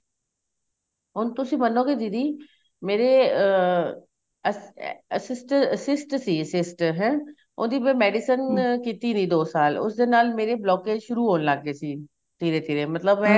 ਹੁਣ ਤੁਸੀਂ ਮਨੋ ਗਏ ਦੀਦੀ ਮੇਰੇ ਅਹ assist ਸੀ assist ਹੈ ਉਹਦੀ ਮੈਂ medicine ਕੀਤੀ ਨੀਂ ਦੋ ਸਾਲ ਉਸ ਦੇ ਨਾਲ ਮੇਰੇ blockage ਸ਼ੁਰੂ ਹੋਣ ਲੱਗ ਗਏ ਸੀ ਧੀਰੇ ਧੀਰੇ ਮਤਲਬ ਇਹ